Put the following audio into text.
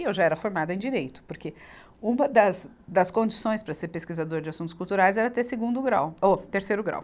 E eu já era formada em Direito, porque uma das, das condições para ser pesquisador de assuntos culturais era ter segundo grau, ou terceiro grau.